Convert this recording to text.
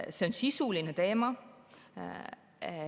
See on sisuline teema.